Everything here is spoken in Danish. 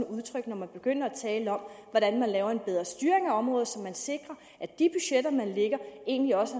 udtryk når man begynder at tale om hvordan man laver en bedre styring af området så man sikrer at de budgetter man lægger egentlig også